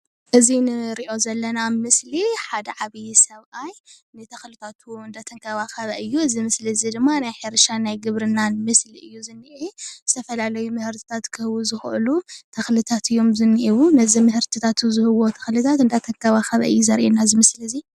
እዚ ንሪኦ ዘለና ምስሊ ሓደ ዓብይ ሰብአይ ንተኽልታቱ እናተከባኸበ እዩ:: እዚ ምስሊ እዚ ድማ ናይ ሕርሻ ናይ ግብርናን ምስሊ እዩ:: ዝንሄ ዝተፈላለዩ ምህርትታት ክህቡ ዝኽእሉ ተኽልታት እዩም ዝንሄዎ:: ነዚ ምህርትታቱ ዝህብዎ ተኽልታት እናተከባኸበ እዩ ዘሪኢና እዚ ምስሊ እዚ፡፡